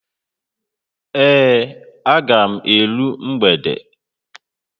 Ee, aga m eru mgbede.